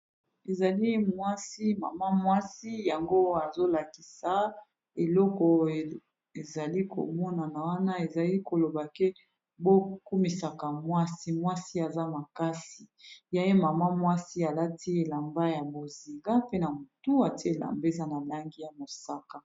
Ezali mwasi mama mwasi yango azolakisa eloko ezali komonana wana ezali koloba ke bo kumisaka mwasi mwasi aza makasi ya ye mama mwasi alati elamba ya boziga, pe na motu ate elamba eza na langi ya mosaka.